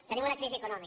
tenim una crisi econòmica